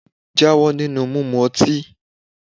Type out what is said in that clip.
Jáwọ́ nínú mímu ọtí!